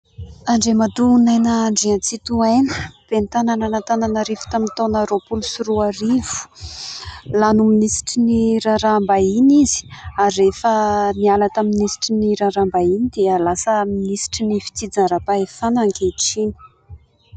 Andriamatoa Naina Andriatsitohaina : Ben'ny tanan' Antananarivo tamin'ny taona roapolo sy roa arivo, lany ho minisitry ny raharaham-bahiny izy ary rehefa niala tamin'ny minisitry ny raharaham-bahiny dia lasa minisitry ny fitsinjaram-pahefana ankehitriny.